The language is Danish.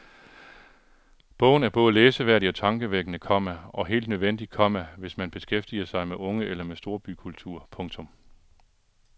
Bogen er både læseværdig og tankevækkende, komma og helt nødvendig, komma hvis man beskæftiger sig med unge eller med storbykultur. punktum